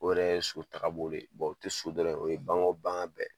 O yɛrɛ ye so tagabolo ye o tɛ dɔrɔn ye o ye bagan bagan bɛɛ